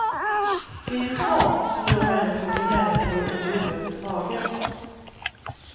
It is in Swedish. Det är ju sånt som gör människor till människor överhuvudtaget.